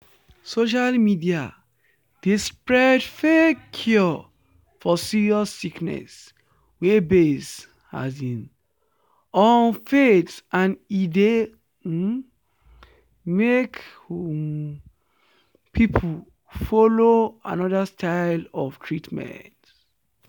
social media dey spread fake cure for serious sickness wey base um on faith and e dey um make um people follow another style of treatment.”